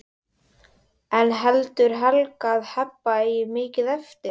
En heldur Helga að Heba eigi mikið eftir?